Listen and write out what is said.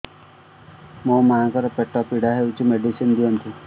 ମୋ ମାଆଙ୍କର ପେଟ ପୀଡା ହଉଛି ମେଡିସିନ ଦିଅନ୍ତୁ